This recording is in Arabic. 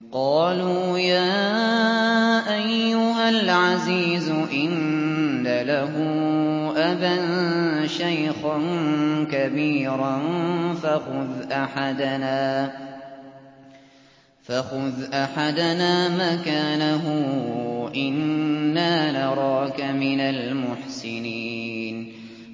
قَالُوا يَا أَيُّهَا الْعَزِيزُ إِنَّ لَهُ أَبًا شَيْخًا كَبِيرًا فَخُذْ أَحَدَنَا مَكَانَهُ ۖ إِنَّا نَرَاكَ مِنَ الْمُحْسِنِينَ